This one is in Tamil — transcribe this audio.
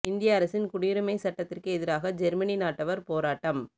இந்திய அரசின் குடியுரிமை சட்டத்திற்கு எதிராக ஜெர்மனி நாட்டவர் போராட்டம்